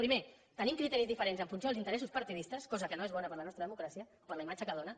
primer tenim criteris diferents en funció dels interessos partidistes cosa que no és bona per a la nostra democràcia per la imatge que dóna